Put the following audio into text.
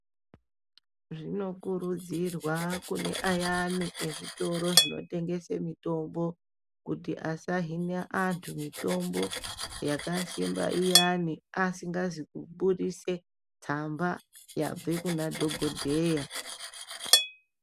Zvinokurudzirwa kune ayani ezvitoro zvinotengese mutombo kuti asahine vandu mutombo yakasimba iyani asimgazi kubuditse tsamba yabve kuna dhokodheya.